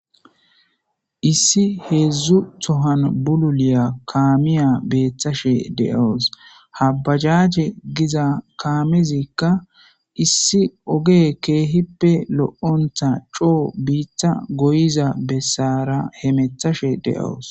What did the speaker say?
Issi heedzdzu tohan bululiya kaamiya beeththashe de'awus habajaje giza kaamezikka issi oge keehippe lo7ontha coo biitta goyiza bessara he methashe de'awus.